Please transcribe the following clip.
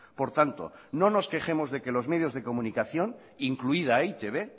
por tanto no nos quejemos de que los medios de comunicación incluida e i te be